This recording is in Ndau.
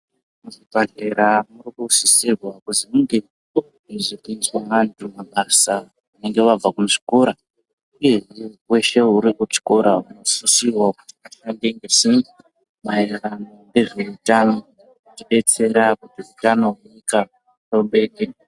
Muzvibhadhlera murikusisirwa kuzi munge muchidzidziswa vantu mabasa vanenge vabva kuzvikora, uyehe muntu veshe uri kuchikora unosisirwa kuzi ashande nesimba. Maererano ngezveutano kuti betsera kuti utano hwenyika hubeke.